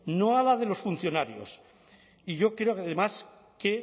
no a la de los funcionarios y yo creo además que